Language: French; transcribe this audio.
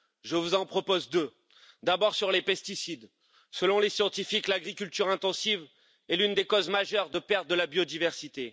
Je vous en propose deux. D'abord sur les pesticides selon les scientifiques, l'agriculture intensive est l'une des causes majeures de perte de la biodiversité.